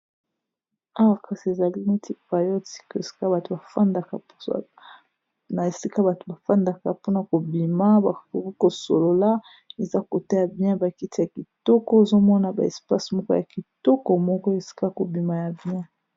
awa kasi ezali neti payotikna esika bato bafandaka mpona kobima baokoki kosolola eza kotaya bien bakiti ya kitoko ezomona ba espase moko ya kitoko moko esika kobima ya bien